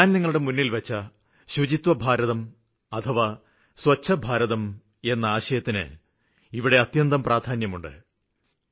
ഞാന് നിങ്ങളുടെ മുന്നില്വച്ച ശുചിത്വഭാരതം അഥവാ സ്വച്ഛ ഭാരതം എന്ന ആശയത്തിന് ഇവിടെ അത്യന്തം പ്രാധാന്യമുണ്ട്